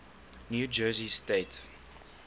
new jersey state